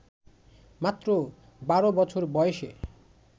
মাত্র ১২ বছর বয়সে